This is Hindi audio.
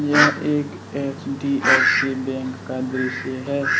यह एक एच_डी_एफ_सी बैंक का दृश्य है।